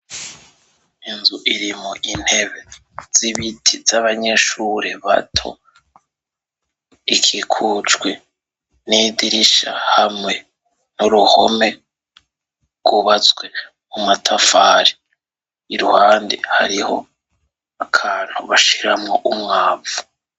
Inzu irimwo intebe z'ibiti za banyeshuri bato ikikujwe n'idirisha hamwe n'uruhome rwubatswe mu matafari iruhande hari akantu bashiramwo umwavu.